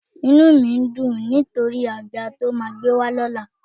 Inú mi ń dùn nítorí àga tí o máa gbé wá lọ́la